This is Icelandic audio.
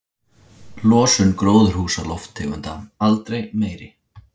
Losun gróðurhúsalofttegunda aldrei meiri